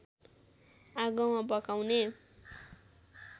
आगोमा पकाउने